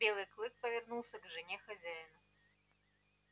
белый клык повернулся к жене хозяина